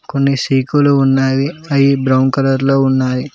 కొన్ని సిఖులు ఉన్నవి అవి బ్రౌన్ కలర్ లో ఉన్నాయి.